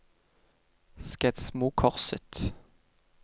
Skedsmokorset